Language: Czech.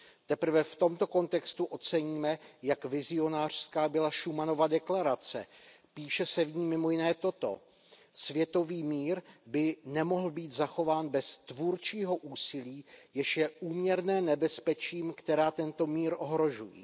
Teprve v tomto kontextu oceníme, jak vizionářská byla Schumanova deklarace, píše se v ní mimo jiné toto ,,Světový mír by nemohl být zachován bez tvůrčího úsilí, jež je úměrné nebezpečím, která tento mír ohrožují.